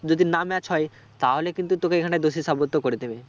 যদি না match হয় তাহলে কিন্তু তোকে এখানে দোষী সাবস্ত করে দেবে